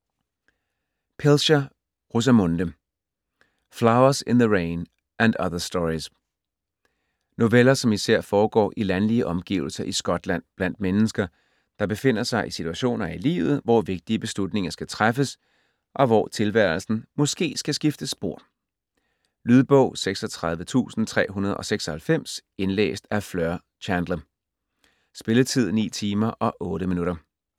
Pilcher, Rosamunde: Flowers in the rain and other stories Noveller som især foregår i landlige omgivelser i Skotland, blandt mennesker, der befinder sig i situationer i livet, hvor vigtige beslutninger skal træffes, og hvor tilværelsen måske skal skifte spor. Lydbog 36396 Indlæst af Fleur Chandler. Spilletid: 9 timer, 8 minutter.